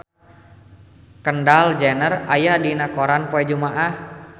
Kendall Jenner aya dina koran poe Jumaah